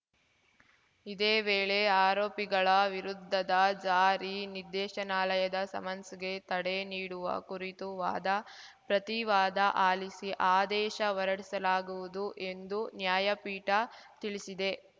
ಇದೇ ವೇಳೆ ಆರೋಪಿಗಳ ವಿರುದ್ಧದ ಜಾರಿ ನಿರ್ದೇಶನಾಲಯದ ಸಮನ್ಸ್‌ಗೆ ತಡೆ ನೀಡುವ ಕುರಿತು ವಾದ ಪ್ರತಿವಾದ ಆಲಿಸಿ ಆದೇಶ ಹೊರಡಿಸಲಾಗುವುದು ಎಂದು ನ್ಯಾಯಪೀಠ ತಿಳಿಸಿದೆ